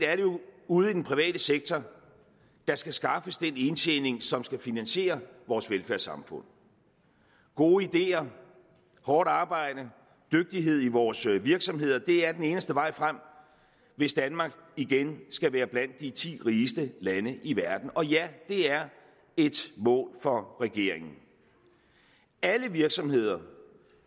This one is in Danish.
ude i den private sektor der skal skaffes den indtjening som skal finansiere vores velfærdssamfund gode ideer hårdt arbejde og dygtighed i vores virksomheder er den eneste vej frem hvis danmark igen skal være blandt de ti rigeste lande i verden og ja det er et mål for regeringen alle virksomheder